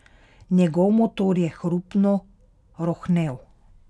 Njegov motor je hrupno rohnel.